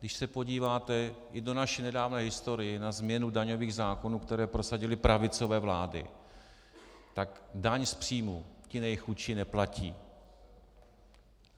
Když se podíváte i do naší nedávné historie na změnu daňových zákonů, které prosadily pravicové vlády, tak daň z příjmu ti nejchudší neplatí.